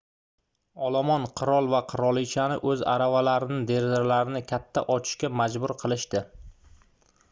olomon qirol va qirolichani oʻz aravalarining derazalarini katta ochishga majbur qilishdi